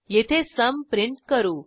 येथे सुम प्रिंट करू